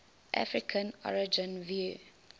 african origin view